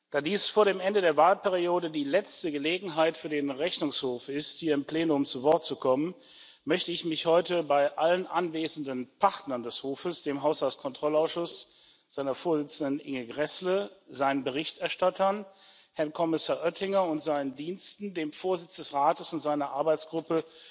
Da dies vor dem Ende der Wahlperiode die letzte Gelegenheit für den Rechnungshof ist, hier im Plenum zu Wort zu kommen, möchte ich mich heute bei allen anwesenden Partnern des Hofes dem Haushaltskontrollausschuss, seiner Vorsitzenden Ingeborg Gräßle, seinen Berichterstattern, Herrn Kommissar Oettinger und seinen Diensten, dem Vorsitz des Rates und seiner Arbeitsgruppe